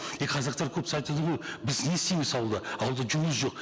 и қазақтар көбісі айтады ғой біз не істейміз ауылда ауылда жұмыс жоқ